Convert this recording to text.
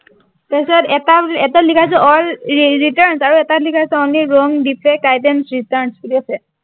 তাৰপিচত এটা এটাত লিখা আছে all returns আৰু এটাত লিখা আছে only wrong defect items return বুলি আছে